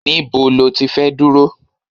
Níbo ló ti fẹ́ dúró?